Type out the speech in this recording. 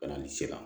Bana ni sira